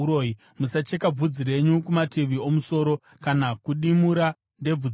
“ ‘Musacheka bvudzi renyu kumativi omusoro kana kudimurira ndebvu dzenyu.